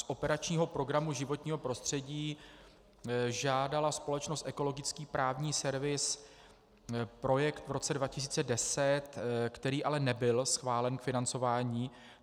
Z operačního programu Životní prostředí žádala společnost Ekologický právní servis projekt v roce 2010, který ale nebyl schválen k financování.